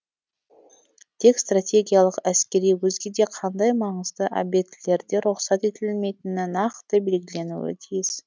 тек стратегиялық әскери өзге де қандай маңызды объектілерде рұқсат етілмейтіні нақты белгіленуі тиіс